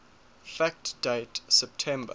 fact date september